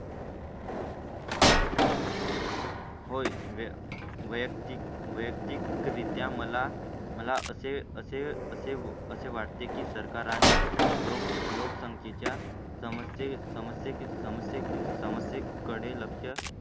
होय. वैयक्तिक, वैयक्तिकरित्या मला मला असे असे असे वाटते की सरकार आणि लोक लोकसंख्ये च्या समस्ये चे समजते समजते की समस्यां कडे लक्ष